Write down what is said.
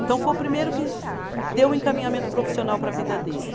Então foi o primeiro que deu um encaminhamento profissional para a vida dele.